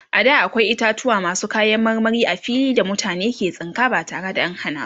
a da akwai itatauwa masu kayan marmari a fili da mutane ke tsinka ba tare da an Hana su ba